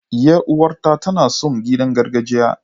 Yar uwata tana son kiɗan gargajiya.